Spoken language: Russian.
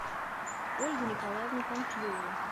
ольгу николаевну панфилову